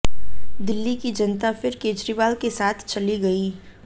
दिल्ली की जनता फिर केजरीवाल के साथ चली गई